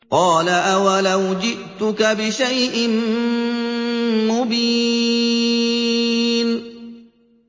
قَالَ أَوَلَوْ جِئْتُكَ بِشَيْءٍ مُّبِينٍ